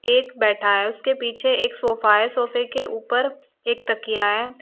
एक बैठा है उसके पीछे एक सोफा है सोफे के ऊपर एक तकिया है।